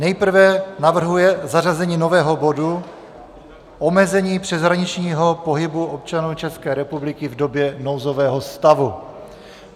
Nejprve navrhuje zařazení nového bodu - omezení přeshraničního pohybu občanů České republiky v době nouzového stavu.